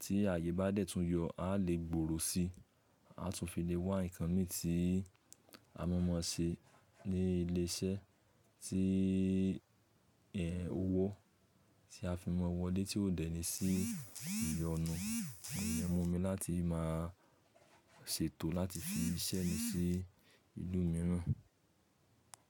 tí ààyè bá dẹ̀ tún yọ, a lè gbòrò sí, a tún fi lè wá nǹkan mí tí a mọ̀ mọ̀ se ní ilé iṣẹ́ tí ẹ́, owó tí a fi mọ̀ wo le tí ò dẹ̀ ní sí ìyọnu. Ìyẹn mú mi láti máa ṣètò láti fi iṣẹ́ mi sí ìlú mìíràn.